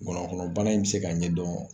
Ngɔnɔnkɔnɔbana in bɛ se k'a ɲɛ dɔn